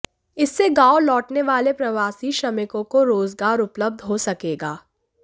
इससे गांव लौटने वाले प्रवासी श्रमिकों को रोजगार उपलब्ध हो सकेगा